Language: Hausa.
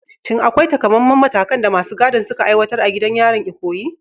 Shin akwai taƙamaiman matakan da masu gadin suka aiwatar a gidan yarin Ikoyi?